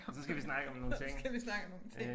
Og så skal vi snakke om nogle ting